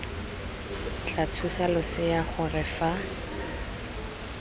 tla thusa losea gore fa